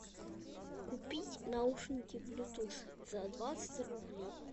купить наушники блютус за двадцать рублей